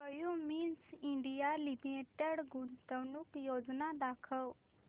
Cummins India limited गुंतवणूक योजना दाखव